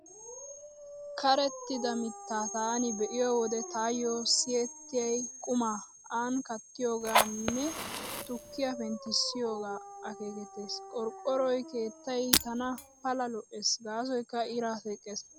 Qerettida mittaa taani be'iyo wode taayo siyettiyay qumaa aani kaattiyoogeenne tukkiyaa penttissiyoogee akeekettees. Qorqqoroy keettay tana Pala lo'ees gaasoykka iraa teqqees.